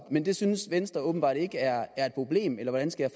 men det synes venstre åbenbart ikke er et problem eller hvordan skal